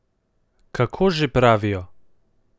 Kako že pravijo?